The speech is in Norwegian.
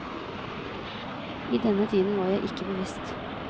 I denne tiden var jeg ikke bevisst.